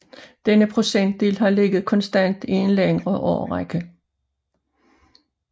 Denne procentdel har ligget konstant i en længere årrække